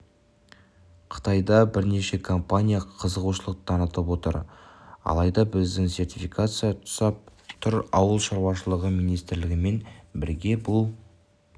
қытайда бірнеше компания қызығушылық танытып отыр алайда бізді сертификация тұсап тұр ауыл шаруашылығы министрлігімен бірге бұл